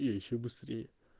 и ещё быстрее